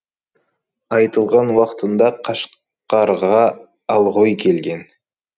айтылған уақытында қашқарға алғұй келген